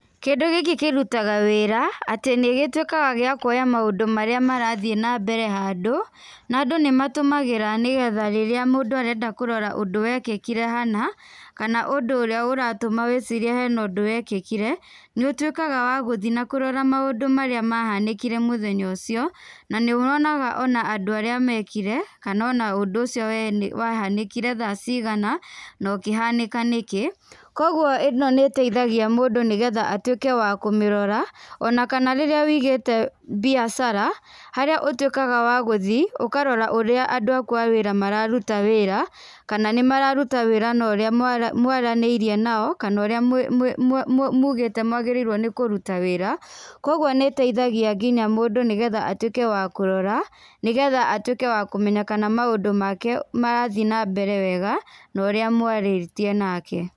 Kĩndũ gĩkĩ kĩrutaga wĩra atĩ nĩgĩtuĩkaga gĩa kuoya maũndũ marĩa marathĩĩ na mbere handũ, na andũ nĩatũmagĩra nĩgetha rĩrĩa mũndũ arenda kũrora ũndũ wekĩkire hana kana ũndũ ũrĩa ũratũma wĩcirie hena ũndũ wekĩkire nĩ ũtuĩkaga wagũthĩĩ na kũrora maũndũ marĩa mahanĩkire mũthenya ũcio na nĩ wonaga ona andũ arĩa mekire kana ona ũndũ ũcio wahanĩkire thaa cigana na ũkĩhanĩka nĩkĩ. Koguo ĩno nĩ ĩteithagia mũndũ nĩgetha atuĩke wa kũmĩrora. Ona kana rĩrĩa wũigĩte biacara harĩa ũtuĩkaga wa gũthiĩ ũkarora ũrĩa andũ aku a wĩra mararuta wĩra kana nĩ mararuta wĩra na ũrĩa maranĩirie nao kana ũrĩa mugĩte mwagĩrĩirwo nĩ kũruta wĩra. Kwoguo nĩ ĩteithagia nginya mũndũ nĩgetha atuĩke wa kũrota nĩgetha atuĩke wa kũmenya kana maũndũ make nĩarathĩĩ na mbere wega na ũrĩa mwarĩtie nake.